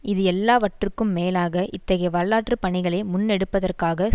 இது எல்லாவற்றுக்கும் மேலாக இத்தகைய வரலாற்று பணிகளை முன்னெடுப்பதற்காக